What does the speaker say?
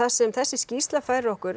sem þessi skýrsla færir okkur